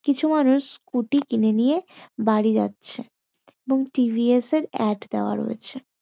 কিছু মানুষ স্কুটি কিনে নিয়ে বাড়ি যাচ্ছে। এবং টি.ভি.এস. -এর অ্যাড দেওয়া রয়েছে।